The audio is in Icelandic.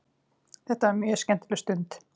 Þetta var mjög skemmtileg stund.